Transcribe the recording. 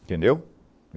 Entendeu?